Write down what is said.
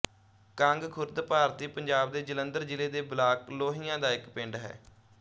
ਕੰਗ ਖੁਰਦ ਭਾਰਤੀ ਪੰਜਾਬ ਦੇ ਜਲੰਧਰ ਜ਼ਿਲ੍ਹੇ ਦੇ ਬਲਾਕ ਲੋਹੀਆਂ ਦਾ ਇੱਕ ਪਿੰਡ ਹੈ